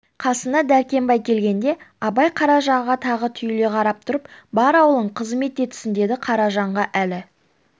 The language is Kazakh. қасына дәркембай келгенде абай қаражанға тағы түйіле қарап тұрып бар аулың қызмет етсін деді қаражанда әлі